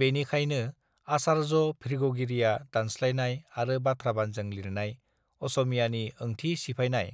बेनिखायनो आचार्य भृगुगिरिया दानस् लायनाय आरो बाथ्राबानजों लिरनाय असमियानि ओंथि सिमफायनाय